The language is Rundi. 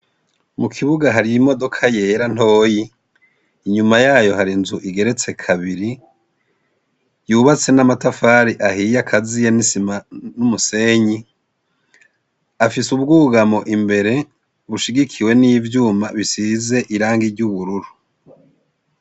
Mu kibuga hari imodoka yera ntoyi. Inyuma yayo, hari inzu igeretse kabiri yubatse n'amatafari ahiye akaziye n'isima n'umusenyi. Afise ubwugamo bubiri bushigikiwe n'ivyuma bisize irangi ry'ubururu.